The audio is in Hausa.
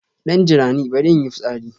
Dan jirani, bari in yi fitsari.